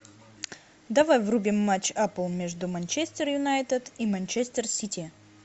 давай врубим матч апл между манчестер юнайтед и манчестер сити